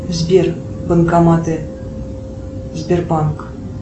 сбер банкоматы сбербанк